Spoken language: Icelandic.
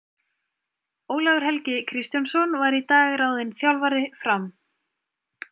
Ólafur Helgi Kristjánsson var í dag ráðinn þjálfari Fram.